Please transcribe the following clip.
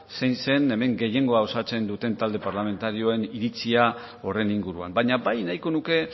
zein zen hemen gehiengoan osatzen duten talde parlamentarioen iritzia horren inguruan baina bai nahiko nuke